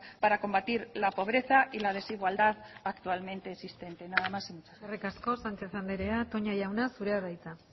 para combatir la pobreza y la desigualdad actualmente existente nada más y muchas gracias eskerrik asko sánchez andrea toña jauna zurea da hitza